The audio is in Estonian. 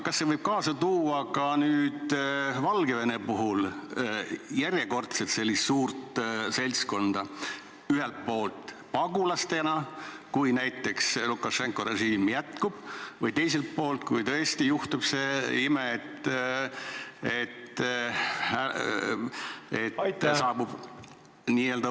Kas see avaldus võib ka Valgevene puhul kaasa tuua sellise järjekordse suure seltskonna tuleku – ühelt poolt pagulastena, kui näiteks Lukašenka režiim püsima jääb, ja teiselt poolt n-ö võõrtöölistena, kui tõesti juhtub ime?